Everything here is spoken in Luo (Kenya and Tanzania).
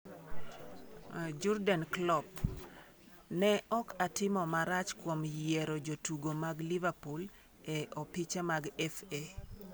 Jurgen Klopp: Ne ok atimo maracha kuom yioro jotugo mag Liverpool e opiche mag FA